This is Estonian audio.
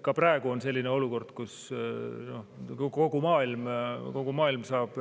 Ka praegu on selline olukord, kus kogu maailm saab